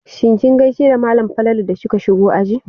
Shin kin gaishe da malam Falalu da kika shigo aji?